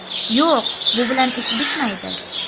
Yo‘q, bu bilan ish bitmaydi.